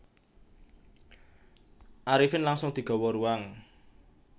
Arifin langsung digawa ruang